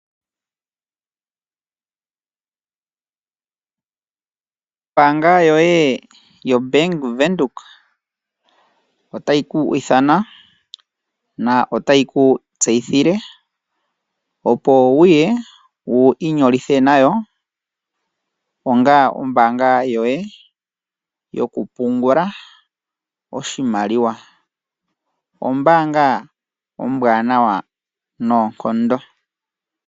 Ombaanga yoye yoBank Windhoek otayi ku ithana na otayi ku tseyithile opo wu ye wu inyolithe nayo onga ombaanga yoye yokupungula oshimaliwa. Ombaanga ombwaanawa noonkondo.